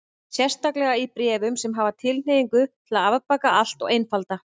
Sérstaklega í bréfum sem hafa tilhneigingu til að afbaka allt og einfalda.